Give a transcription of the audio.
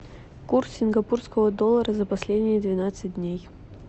курс сингапурского доллара за последние двенадцать дней